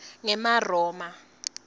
ngemaroma